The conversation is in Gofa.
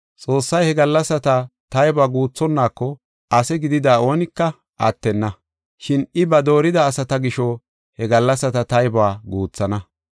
Xoossay he gallasata taybuwa guuthonnaako ase gidida oonika attenna. Shin I ba doorida asata gisho, he gallasata taybuwa guuthana.